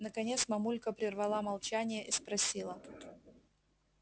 наконец мамулька прервала молчание и спросила